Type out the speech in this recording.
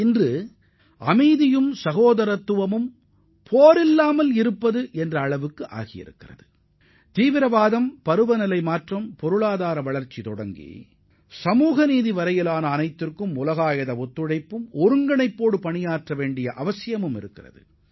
இன்று அமைதி என்பது போர் மட்டுமல்ல பயங்கரவாதம் பருவநிலை மாற்றம் சமூக மாற்றம் பொருளாதார வளர்ச்சி போன்றவற்றிற்கு தீர்வுகாண உலகளாவிய ஒத்துழைப்பும் ஒருங்கிணைப்பும் தேவைப்படுகிறது